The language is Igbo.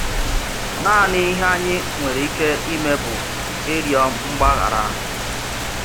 Nàànị̀ ihe ányị̀ nwèrè íkè ímé bụ́ ịrị́ọ̀ mgbàghárà.